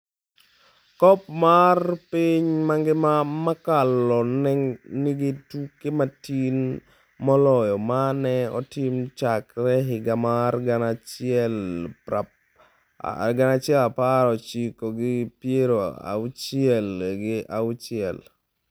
Kop mar piny mangima mokalo ne nigi tuke matin moloyo ma ne otim chakre higa mar gana achiel prapar ochiko gi piero auchiel gi auchiel.